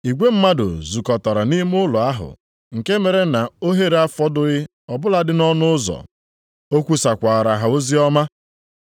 Igwe mmadụ zukọtara nʼime ụlọ ahụ nke mere na ohere afọdụghị ọ bụladị nʼọnụ ụzọ. O kwusakwaara ha oziọma.